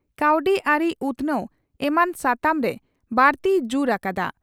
ᱠᱟᱹᱣᱰᱤ ᱟᱹᱨᱤ ᱩᱛᱷᱱᱟᱹᱣ ᱮᱢᱟᱱ ᱥᱟᱛᱟᱢ ᱨᱮ ᱵᱟᱹᱲᱛᱤᱭ ᱡᱩᱨ ᱟᱠᱟᱫᱼᱟ ᱾